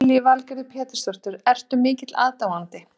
Lillý Valgerður Pétursdóttir: Ertu mikill aðdáandi?